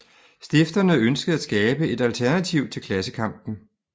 Stifterne ønskede at skabe et alternativ til klassekampen